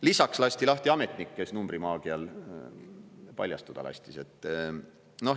Lisaks lasti lahti ametnik, kes numbrimaagial paljastuda lasi.